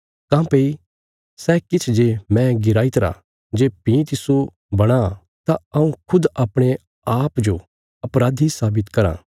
काँह्भई सै किछ जे मैं गिराईतरा जे भीं तिस्सो बणां तां हऊँ खुद अपणे अप्पूँजो अपराधी साबित कराँ